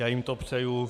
Já jim to přeju.